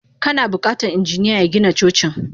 Kana bukatan injiniya ya Gina Cocin.